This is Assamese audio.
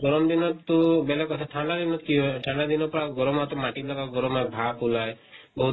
গৰম দিনত টো বেলেগ কথা, ঠান্দা দিনত কি হয় ঠান্দা দিনৰ পৰা গৰমাতো মাটি বিলাকৰ গৰমে ভাব ওলায় বহুত